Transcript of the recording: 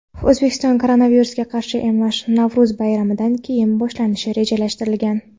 O‘zbekistonda koronavirusga qarshi emlash Navro‘z bayramidan keyin boshlanishi rejalashtirilgan.